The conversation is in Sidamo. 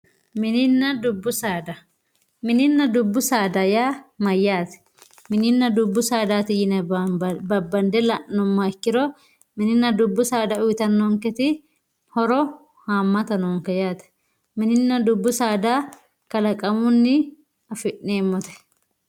mininna dubbu saada mininna dubbu saada yaa mayyaate? mininna dubbu saada yine babbande la'nummoha ikkiro mininna dubbu saada uyiitannonketi horo haammata noonke yaate mininna dubbu saada kalaqamunni afi'neemmote